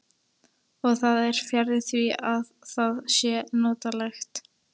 Og það er fjarri því að það sé notalegt.